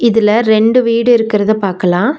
இதுல ரெண்டு வீடு இருக்குறது பாக்கலா.